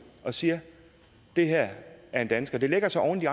og siger det her er en dansker det lægger sig oven i